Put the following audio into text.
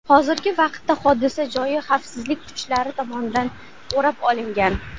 Hozirgi vaqtda hodisa joyi xavfsizlik kuchlari tomonidan o‘rab olingan.